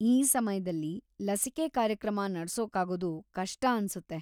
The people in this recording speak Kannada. ಈ ಸಮಯ್ದಲ್ಲಿ, ಲಸಿಕೆ ಕಾರ್ಯಕ್ರಮ ನಡ್ಸೋಕಾಗೋದು ಕಷ್ಟ ಅನ್ಸುತ್ತೆ.